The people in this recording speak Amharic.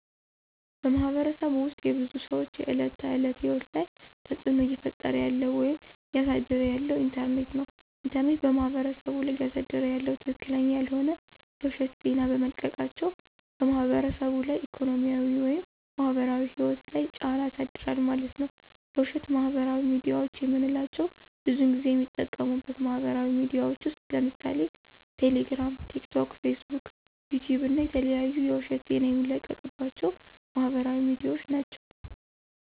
በማህበረሰቡ ውስጥ የብዙ ሰዎች የዕለት ተዕለት ህይወት ላይ ተፅዕኖ እየፈጠረ ያለው ወይም እያሳደረ ያለው ኢንተርኔት ነው። ኢንተርኔት በማህበረሰቡ ላይ እያሳደረ ያለው ትክክለኛ ያልሆነ የውሸት ዜና በመልቀቃቸው በማህበረሰቡ ላይ ኢኮኖሚያዊ ወይም ማህበራዊ ህይወት ላይ ጫና ያሳድራል ማለት ነዉ። የውሸት ማህበራዊ ሚድያዎች የምንላቸው ብዙን ጊዜ የሚጠቀሙበት ማህበራዊ ሚድያዎች ውስጥ ለምሳሌ ቴሌግራም፣ ቲክቶክ፣ ፌስቡክ፣ ዩቲዩብ እና የተለያዩ የውሸት ዜና የሚለቀቅባቸው ማህበራዊ ሚድያዎች ናቸው።